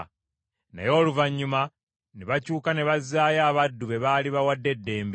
Naye oluvannyuma ne bakyuka ne bazzaayo abaddu be baali bawadde eddembe.